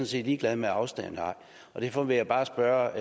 set ligeglad med afstanden derfor vil jeg bare spørge